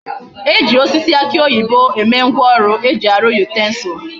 E ji osisi aki oyibo eme ngwa oru eji aru utensils